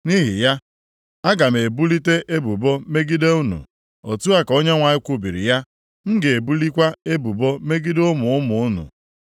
“Nʼihi ya, aga m ebulite ebubo megide unu,” + 2:9 Aga m akpọ unu ikpe. Otu a ka Onyenwe anyị kwubiri ya. “M ga-ebulikwa ebubo megide ụmụ ụmụ unu.